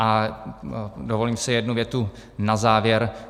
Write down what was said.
A dovolím si jednu větu na závěr.